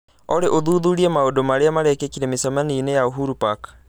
Olly ũthuthurie maũndũ marĩa merekĩka mĩcemanio-inĩ ya uhuru park